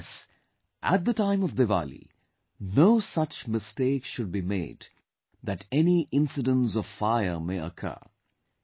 And yes, at the time of Diwali, no such mistake should be made that any incidents of fire may occur